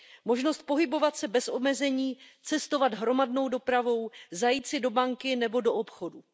Možnost pohybovat se bez omezení, cestovat hromadnou dopravou, zajít si do banky nebo do obchodu.